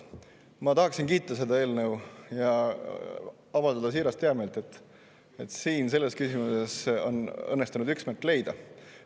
Ma tahan kiita seda eelnõu ja avaldada siirast heameelt, et selles küsimuses on õnnestunud üksmeel leida.